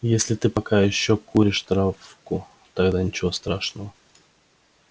если ты пока ещё куришь травку тогда ничего страшного